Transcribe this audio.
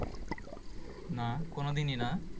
না কোনোদিনই না।